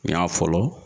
N y'a fɔlɔ